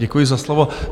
Děkuji za slovo.